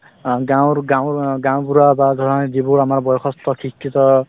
অ গাঁৱৰগাঁৱৰ অ গাওঁবুঢ়া বা ধৰা যিবোৰ আমাৰ বয়সস্থ শিক্ষিত